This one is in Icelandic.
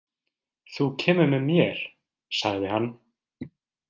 Þú kemur með mér, sagði hann.